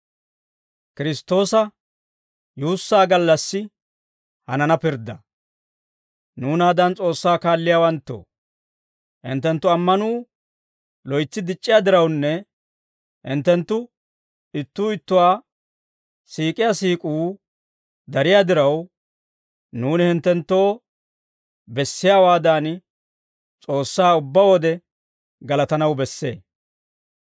Nuunaadan S'oossaa kaalliyaawanttoo, hinttenttu ammanuu loytsi dic'c'iyaa dirawunne, hinttenttu ittuu ittuwaa siik'iyaa siik'uu dariyaa diraw, nuuni hinttenttoo bessiyaawaadan, S'oossaa ubbaa wode galatanaw bessee.